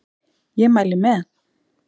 Ég mæli með!